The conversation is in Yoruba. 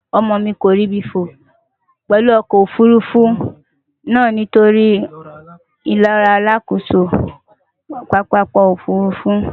Omo mi ko ribi fo pelu oko ofurufu na nitori ilora alakoso papako ofurufu.